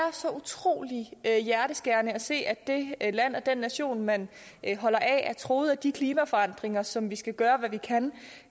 så utrolig hjerteskærende at se at det land og den nation man holder af er truet af de klimaforandringer som vi skal gøre hvad vi kan